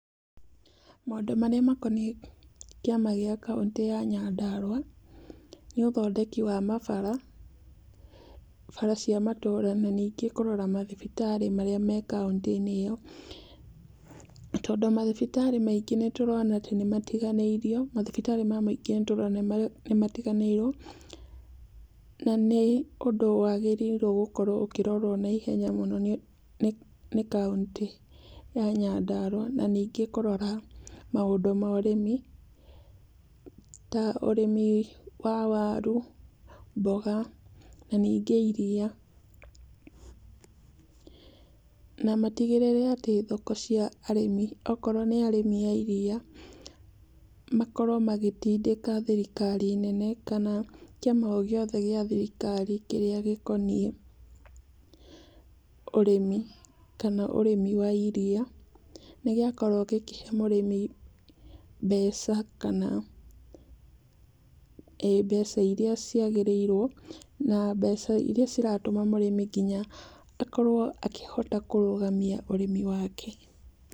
Maũndũ marĩa makoniĩ kĩama gĩa kauntĩ ya Nyandarua, nĩ ũthondeki wa mabara. Bara cia matũra, na ningĩ kũrora mathibitarĩ marĩa me kauntĩ ĩyo. Tondũ mathibitarĩ maingĩ nĩtũrona atĩ nĩmatiganĩirio, mathibitarĩ ma mũingĩ nĩtũrona matiganĩirwo, na nĩ ũndũ wagĩrĩirwo nĩ gũkorwo ũkĩrorwo naihenya mũno nĩ kauntĩ ya Nyandarua. Na ningĩ kũrora maũndũ ma ũrĩmi, ta ũrĩmi wa waru, mboga, na ningĩ iriia. Na matigĩrĩre atĩ thoko cia arĩmi, akorwo nĩ arĩmi a iriia, makorwo magĩtindĩka thirikari nene kana kĩama o gĩothe gĩa thirikari kĩrĩa gĩkoniĩ ũrĩmi kana ũrĩmi wa iria nĩ gĩakorwo gĩkĩhe mũrĩmi mbeca kana mbeca iria ciagĩrĩirwo na mbeca iria ciratũma mũrĩmi nginya akorwo akĩhota kũrũgamia ũrĩmi wake.